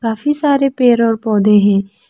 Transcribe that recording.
काफी सारे पेड़ और पौधे हैं।